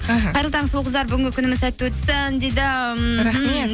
іхі қайырлы таң сұлу қыздар бүгінгі күніміз сәтті өтсін дейді